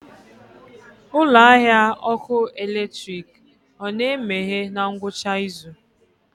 Ụlọ ahịa ọkụ eletrik ọ na-emeghe na ngwụcha izu?